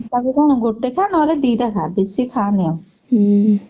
କଣ ଗୋଟେ ଖା ନହେଲେ ଦିଟା ଖା ବେଶୀ ଖାଆନି ଆଉ